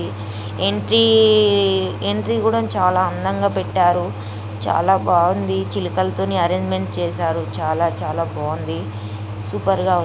Entry entry కూడా చాలా అందంగా పెట్టారు చాలా బాగుంది చిలకల తోటి అరేంజ్మెంట్ చేశారు చాలా చాలా బాగుంది సూపర్ గా ఉంది.